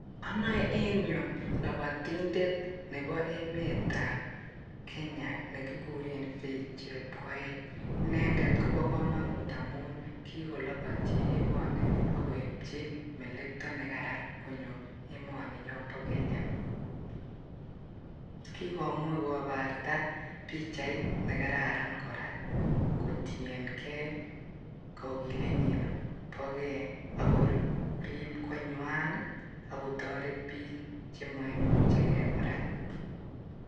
Agere en yu lobotindet Nebo emetab kenya nnekikuren Faith chepkoeech. Inendet komo komonut amun kikolobotyi emoni akoibchi melektoo nekaran konyo emoninyon bo Kenya, kikomuch kobarta pichait nakararan missing kotienge kokilenyin bo gee ako riib konywan ako toretbiik chemoiche gee kora